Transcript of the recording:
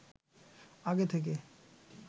আগে থেকে